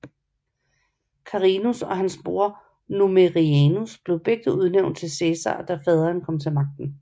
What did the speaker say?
Carinus og hans bror Numerianus blev begge udnævnt til Cæsar da faderen kom til magten